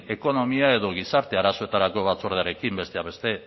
ekonomia edo gizarte arazoetarako batzordearekin besteak beste